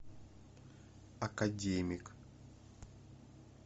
академик